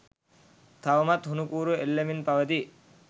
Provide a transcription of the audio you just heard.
තවමත් හුණු කූරු එල්ලෙමින් පවතී